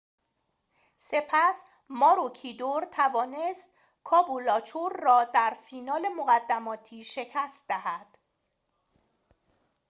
سپس ماروکیدور توانست کابولاچور را در فینال مقدماتی شکست دهد